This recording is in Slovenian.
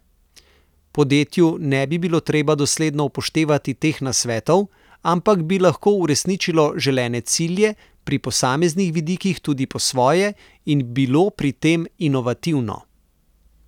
Podjetju ne bi bilo treba dosledno upoštevati teh nasvetov, ampak bi lahko uresničilo želene cilje pri posameznih vidikih tudi po svoje in bilo pri tem inovativno.